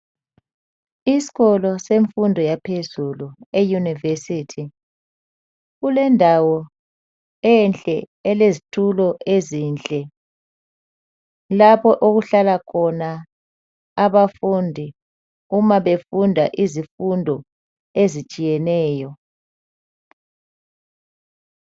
Isikolo semfundo yaphezulu euniversity .Kulendawo enhle elezitulo ezinhle . Lapho okuhlala khona abafundi uma befunda izifundo ezitshiyeneyo.